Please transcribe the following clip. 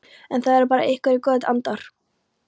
Það eru bara einhverjir góðir andar.